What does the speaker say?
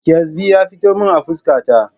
Ƙyasbi ya fito min a fuska ta